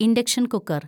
induction‍ cooker‍